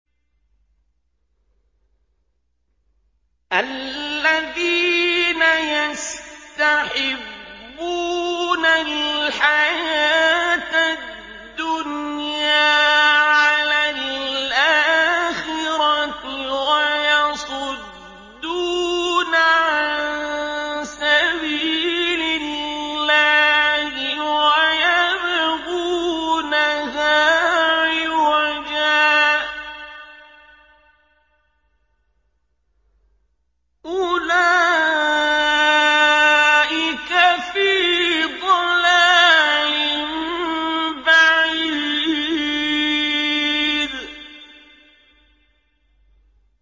الَّذِينَ يَسْتَحِبُّونَ الْحَيَاةَ الدُّنْيَا عَلَى الْآخِرَةِ وَيَصُدُّونَ عَن سَبِيلِ اللَّهِ وَيَبْغُونَهَا عِوَجًا ۚ أُولَٰئِكَ فِي ضَلَالٍ بَعِيدٍ